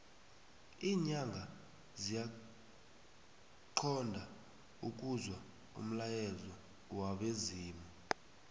linyanga ziyaxhond ukuzwa umlayezo wabezimu